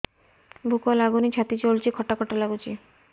ଭୁକ ଲାଗୁନି ଛାତି ଜଳୁଛି ଖଟା ଖଟା ଲାଗୁଛି